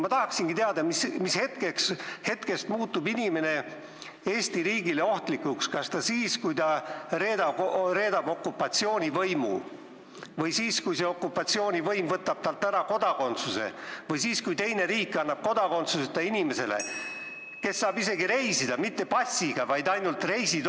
Ma tahaksingi teada, mis hetkest muutub inimene Eesti riigile ohtlikuks – kas siis, kui ta reedab okupatsioonivõimu, või siis, kui see okupatsioonivõim võtab talt ära kodakondsuse, või siis, kui teine riik annab ainult reisidokumendi, mitte passi kodakondsuseta inimesele, et ta saaks reisida.